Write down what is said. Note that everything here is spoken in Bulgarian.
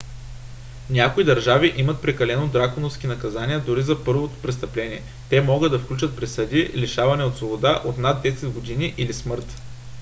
някои държави имат прекалено драконовски наказания дори за първо престъпление те могат да включват присъди лишаване от свобода от над 10 години или смърт